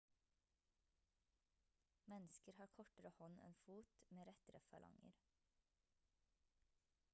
mennesker har kortere hånd enn fot med rettere falanger